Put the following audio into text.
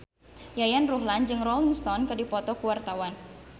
Yayan Ruhlan jeung Rolling Stone keur dipoto ku wartawan